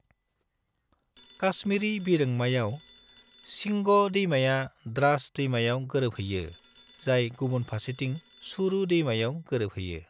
काश्मीरी बिरोंमायाव, शिंग' दैमाया द्रास दैमायाव गोरोबहैयो, जाय गुबुन फारसेथिं सुरू दैमायाव गोरोबहैयो।